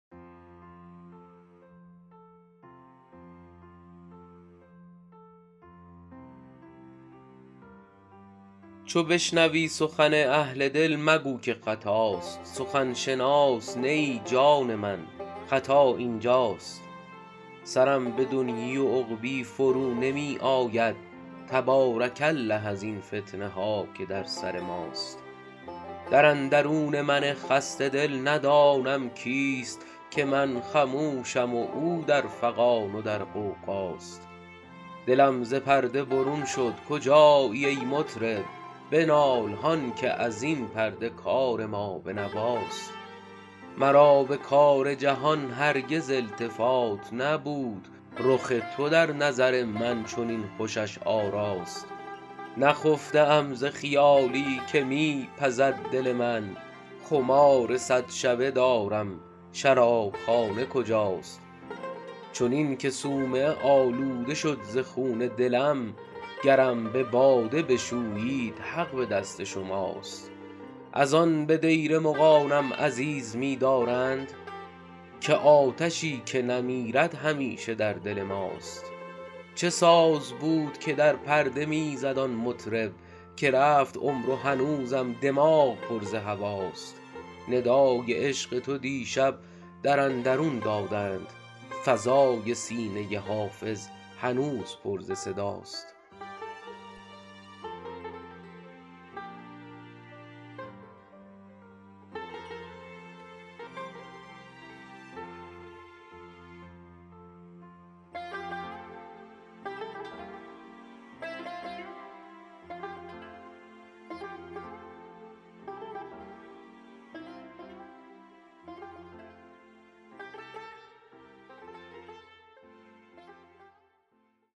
چو بشنوی سخن اهل دل مگو که خطاست سخن شناس نه ای جان من خطا این جاست سرم به دنیی و عقبی فرو نمی آید تبارک الله ازین فتنه ها که در سر ماست در اندرون من خسته دل ندانم کیست که من خموشم و او در فغان و در غوغاست دلم ز پرده برون شد کجایی ای مطرب بنال هان که از این پرده کار ما به نواست مرا به کار جهان هرگز التفات نبود رخ تو در نظر من چنین خوشش آراست نخفته ام ز خیالی که می پزد دل من خمار صد شبه دارم شراب خانه کجاست چنین که صومعه آلوده شد ز خون دلم گرم به باده بشویید حق به دست شماست از آن به دیر مغانم عزیز می دارند که آتشی که نمیرد همیشه در دل ماست چه ساز بود که در پرده می زد آن مطرب که رفت عمر و هنوزم دماغ پر ز هواست ندای عشق تو دیشب در اندرون دادند فضای سینه حافظ هنوز پر ز صداست